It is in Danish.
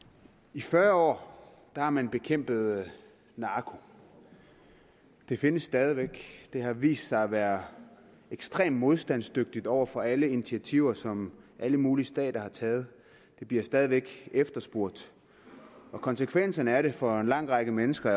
i fyrre år har man bekæmpet narko den findes stadig væk den har vist sig at være ekstremt modstandsdygtig over for alle initiativer som alle mulige stater har taget den bliver stadig væk efterspurgt konsekvensen af det er for en lang række mennesker